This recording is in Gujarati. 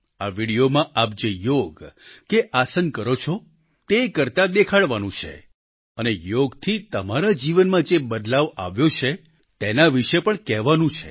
આ વીડિયોમાં આપ જે યોગ કે આસન કરો છો તે કરતાં દેખાડવાનું છે અને યોગથી તમારા જીવનમાં જે બદલાવ આવ્યો છે તેના વિશે પણ કહેવાનું છે